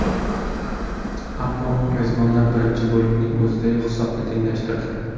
Ammo mezbonlar birinchi bo‘limning o‘zidayoq hisobni tenglashtirdi.